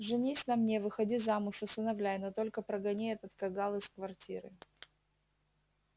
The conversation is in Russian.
женись на мне выходи замуж усыновляй но только прогони этот кагал из квартиры